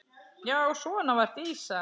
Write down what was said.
Já svona var Dísa.